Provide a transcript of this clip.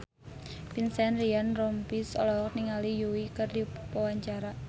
Vincent Ryan Rompies olohok ningali Yui keur diwawancara